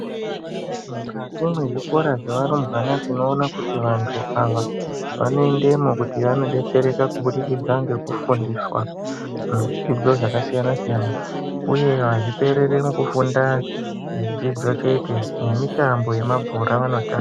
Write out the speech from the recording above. Mukati mwezvikora zvewarumbwana tinoona kuti vantu ava wanoendemwo kuti wanodetsereka kubudikidza ngekufundiswa muzvidzidzo zvakasiyana siyana uye azvipereri mukufunda zvidzidzo chete nemitambo yemabhora vanotamba.